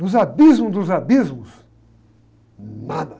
Nos abismos dos abismos, nada.